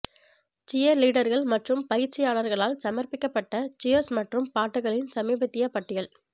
சியர்லீடர்கள் மற்றும் பயிற்சியாளர்களால் சமர்ப்பிக்கப்பட்ட சியர்ஸ் மற்றும் பாட்டுகளின் சமீபத்திய பட்டியல்